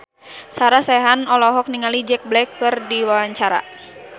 Sarah Sechan olohok ningali Jack Black keur diwawancara